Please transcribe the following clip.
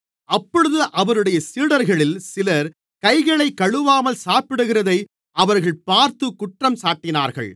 அப்பொழுது அவருடைய சீடர்களில் சிலர் கைகளைக் கழுவாமல் சாப்பிடுகிறதை அவர்கள் பார்த்து குற்றஞ்சாட்டினார்கள்